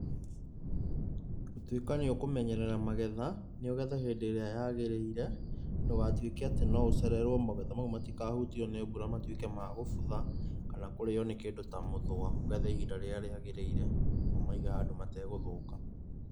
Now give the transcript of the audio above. Gũtuĩka nĩ ũkũmenyerera magetha, nĩ ũgethe hĩndĩ ĩrĩa yagĩirĩire, ndugatuike atĩ no ũcererwo magetha mau matikahutio nĩ mbura matigatuike ma kubutha, kana kurĩo nĩ kĩndũ ta mũthũa, ũgethe ihinda rĩrĩa rĩagĩirĩire na ũmaige handũ mategũthuka.